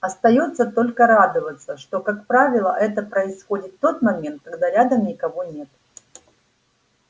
остаётся только радоваться что как правило это происходит в тот момент когда рядом никого нет